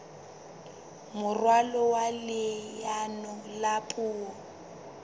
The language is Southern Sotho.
moralo wa leano la puo